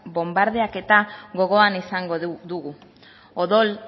bonbardaketa gogoan izango dugu odol